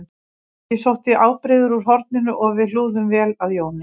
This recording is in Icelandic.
Ég sótti ábreiður úr horninu og við hlúðum vel að Jóni